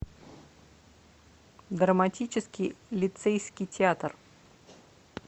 драматический лицейский театр